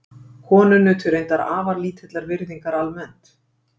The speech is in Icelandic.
konur nutu reyndar afar lítillar virðingar almennt